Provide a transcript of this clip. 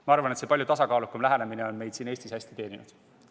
Ma arvan, et senine palju tasakaalukam lähenemine on meid siin Eestis hästi teeninud.